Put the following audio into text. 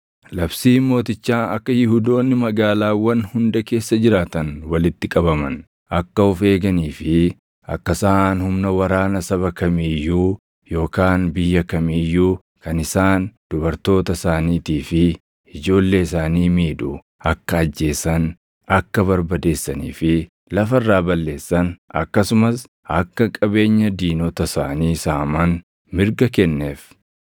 Labsiin mootichaa akka Yihuudoonni magaalaawwan hunda keessa jiraatan walitti qabaman, akka of eeganii fi akka isaan humna waraana saba kamii iyyuu yookaan biyya kamii iyyuu kan isaan, dubartoota isaaniitii fi ijoollee isaanii miidhu akka ajjeesan, akka barbadeessanii fi lafa irraa balleessan akkasumas akka qabeenya diinota isaanii saaman mirga kenneef.